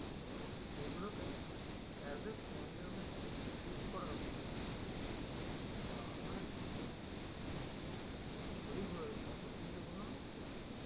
তো সেগুলোকে as a friend এর মত treat করা উচিত কিন্তু বাবা মা রা যেভাবে ছুরি ঘোড়াই অতটা ছুরি ঘোরানো ঠিক না